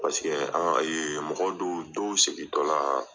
Paseke an ka, ee mɔgɔ dɔw dɔw segin tɔ la